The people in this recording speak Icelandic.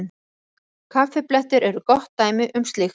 Kaffiblettir eru gott dæmi um slíkt.